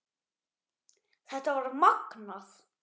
Þetta var magnað.